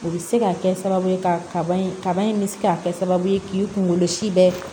U bɛ se ka kɛ sababu ye ka kaba in kaba in bɛ se ka kɛ sababu ye k'i kungolo si bɛ